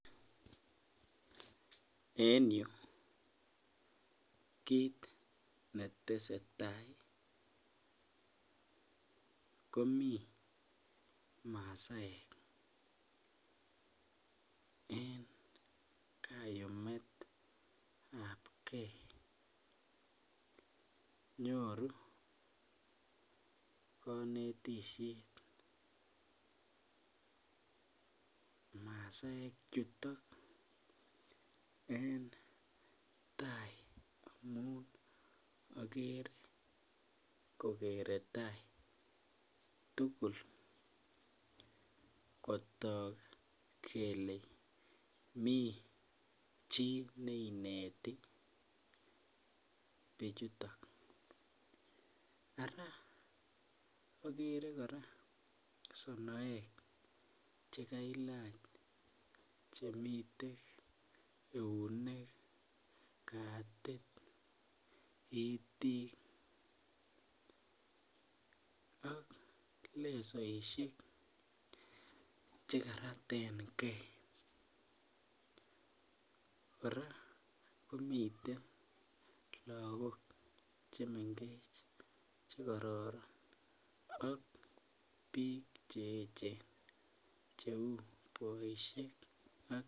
En yu kit netese taa komii maasaek en kayumetab gee nyoru konetisiet, masaekchuto en tai yun akere kokere tai tugul kotok kele mi chii neineti bichutok, ara akere kora sonoek chekailach chemiten ,eunek, katit, itik ak lesoisiek chekaratengee kora komiten lagok chemengech chekororon ak biik che echen cheu boisiek ak.